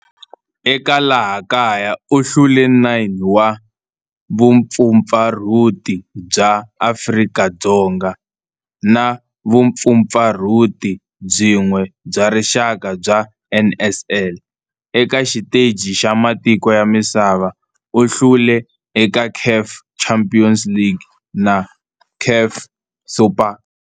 Eka laha kaya u hlule 9 wa vumpfampfarhuti bya Afrika-Dzonga na vumpfampfarhuti byin'we bya rixaka bya NSL. Eka xiteji xa matiko ya misava, u hlule eka CAF Champions League na CAF Super Cup.